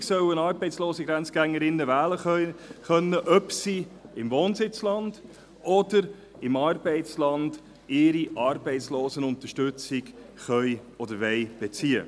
Künftig sollen arbeitslose Grenzgängerinnen und Grenzgänger wählen können, ob sie im Wohnsitzland oder im Arbeitsland ihre Arbeitslosenunterstützung beziehen können oder wollen.